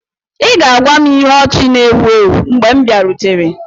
Ị ga-agwa m ihe ọchị na-èwu èwu mgbè m biarutere